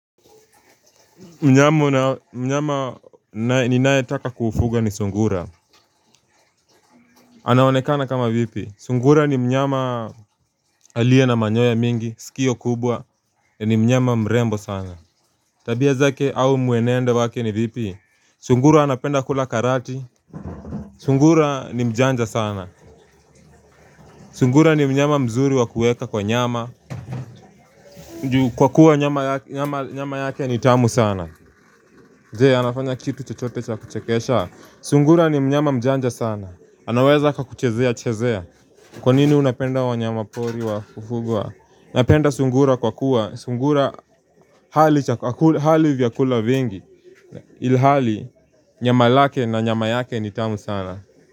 Mnyama ninayetaka kufuga ni sungura anaonekana kama vipi, sungura ni mnyama aliye na manyoya mingi, sikio kubwa, ni mnyama mrembo sana Tabia zake au mwenendo wake ni vipi, sungura anapenda kula karati Sungura ni mjanja sana Sungura ni mnyama mzuri wa kuweka kwa nyama Kwa kuwa nyama yake ni tamu sana Je, anafanya kitu chochote cha kuchekesha Sungura ni mnyama mjanja sana anaweza kakuchezea chezea Kwa nini unapenda wanyama pori wa kufugwa napenda sungura kwa kuwa Sungura hali vyakula vingi Ilhali nyama lake na nyama yake ni tamu sana.